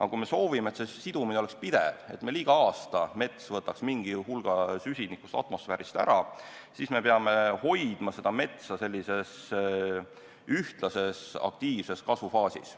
Aga kui me soovime, et sidumine oleks pidev ja mets võtaks igal aastal mingi hulga süsinikku atmosfäärist ära, siis peame hoidma metsa sellises ühtlases aktiivses kasvufaasis.